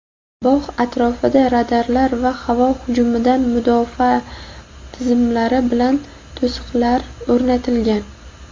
Bog‘ atrofida radarlar va havo hujumidan mudofaa tizimlari bilan to‘siqlar o‘rnatilgan.